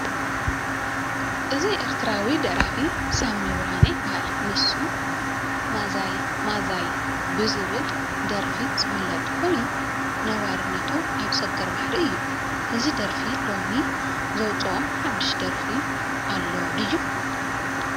እዚ ኤርትራዊ ደራፊ ሳሚ ብርሃነ ይበሃል፡፡ ንሱ ማዛይ ማዛይ ብዝብል ደርፉ ዝፍለጥ ኮይኑ ነባርነቱ ኣብ ሰገር ባሕሪ እዩ፡፡ እዚ ደራፊ ሎሚ ዘውፅኦ ሓዱሽ ደርፊ ኣሎ ድዩ?